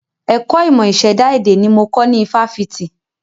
Ẹ̀kọ́ ìmọ̀ ìṣẹ̀dá èdè ni mo kọ́ ní ifáfitì